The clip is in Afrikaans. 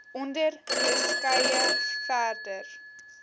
onder beskrywe verder